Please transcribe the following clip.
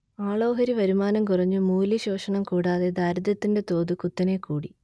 ആളോഹരി വരുമാനം കുറഞ്ഞു മൂല്യശോഷണം കൂടാതെ ദാരിദ്ര്യത്തിന്റെ തോത് കുത്തനെ കൂടി